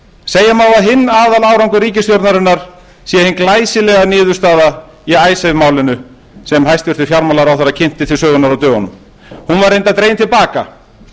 segja má að hinn aðalárangur ríkisstjórnarinnar sé hin glæsilega niðurstaða í icesave málinu sem hæstvirtur fjármálaráðherra kynnti til sögunnar á dögunum hún var reyndar dregin til baka það